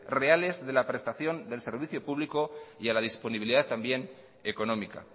reales de la prestación del servicio público y a la disponibilidad también económica